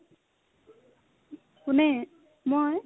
কোনে মই ?